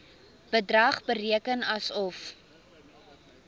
bedrag bereken asof